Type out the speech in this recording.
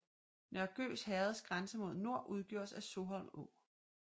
Nørre Gøs herreds grænse mod nord udgjordes af Soholm Å